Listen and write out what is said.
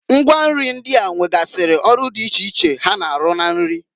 Ngwa nri ndịa nwegasịrị ọrụ ọrụ di iche iche ha na-arụ na nri.